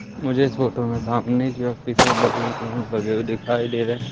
मुझे इस फोटो में सामने काफी सारे बलून लगे हुए दिखाई दे रहे हैं।